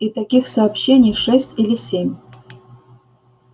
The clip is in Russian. и таких сообщений шесть или семь